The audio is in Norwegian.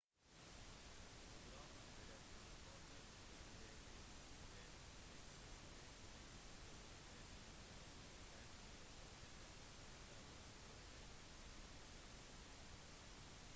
fotografen ble transportert til det medisinske senteret ronald reagan ucla der han etter hvert døde